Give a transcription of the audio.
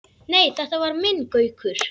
Nei, þetta var minn Gaukur.